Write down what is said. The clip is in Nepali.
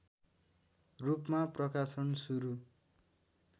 रूपमा प्रकाशन सुरु